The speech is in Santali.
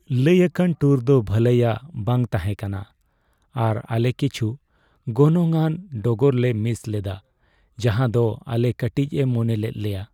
ᱞᱟᱹᱭᱟᱠᱟᱱ ᱴᱩᱨ ᱫᱚ ᱵᱷᱟᱹᱞᱟᱭᱼᱟᱜ ᱵᱟᱝ ᱛᱟᱦᱮᱸ ᱠᱟᱱᱟ, ᱟᱨ ᱟᱞᱮ ᱠᱤᱪᱷᱩ ᱜᱚᱱᱚᱝᱼᱟᱱ ᱰᱚᱜᱚᱨ ᱞᱮ ᱢᱤᱥ ᱞᱮᱫᱟ ᱡᱟᱦᱟᱸ ᱫᱚ ᱟᱞᱮᱭ ᱠᱟᱹᱴᱤᱡ ᱮ ᱢᱚᱱᱮ ᱞᱮᱫ ᱞᱮᱭᱟ ᱾